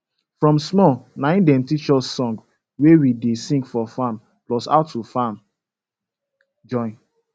from small naim dem teach us song wey we da sing for farm plus how to farm join